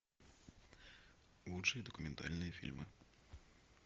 лучшие документальные фильмы